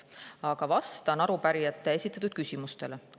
Aga vastan arupärijate esitatud küsimustele.